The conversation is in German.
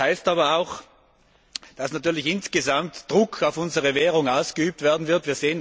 Das heißt aber auch, dass natürlich insgesamt Druck auf unsere Währung ausgeübt werden wird.